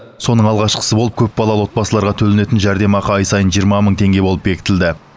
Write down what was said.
соның алғашқысы болып көпбалалы отбасыларға төленетін жәрдемақы ай сайын жиырма мың теңге болып бекітілді